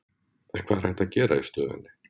En hvað er hægt að gera í stöðunni?